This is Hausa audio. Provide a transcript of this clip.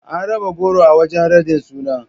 An raba goro a wajen raɗin sunan.